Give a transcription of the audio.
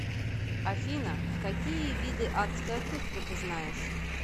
афина какие виды адская кухня ты знаешь